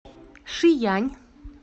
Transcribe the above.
шиянь